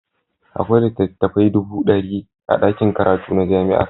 Akwai littattafai dubu ɗari a ɗakin karatu na jami'ar.